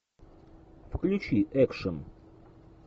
включи экшн